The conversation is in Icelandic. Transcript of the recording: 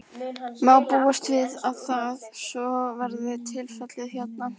Má búast við að það, svo verði tilfellið hérna?